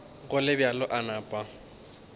go le bjalo a napa